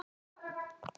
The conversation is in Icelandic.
Svona. svona